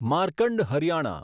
Markand Haryana